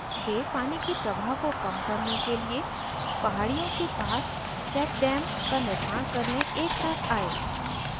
वे पानी के प्रवाह को came करने के लिए पहाड़ियों के पास check dams का निर्माण करने एक साथ आए